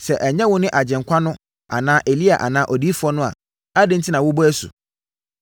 “Sɛ ɛnyɛ wone Agyenkwa no anaa Elia anaa Odiyifoɔ no a, adɛn enti na wobɔ asu?”